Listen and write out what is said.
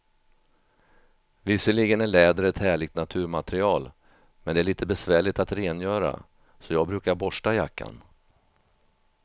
Visserligen är läder ett härligt naturmaterial, men det är lite besvärligt att rengöra, så jag brukar borsta jackan.